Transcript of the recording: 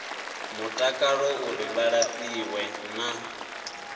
mutakalo uri vha lafhiwe na